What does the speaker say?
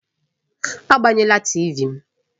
Agbanyela TịVị m!